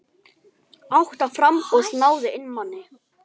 Átta framboð náðu inn manni.